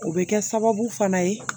O bɛ kɛ sababu fana ye